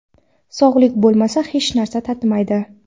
Sog‘lik bo‘lmasa hech narsa tatimaydi.